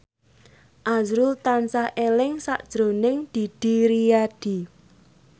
azrul tansah eling sakjroning Didi Riyadi